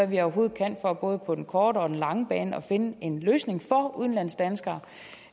vi overhovedet kan for både på den korte og den lange bane at finde en løsning for udenlandsdanskere